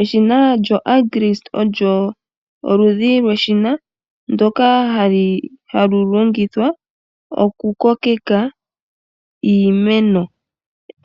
Eshina lyo Agrist olyo oludhi lweshina ndyoka hali longithwa oku kokeka iimeno .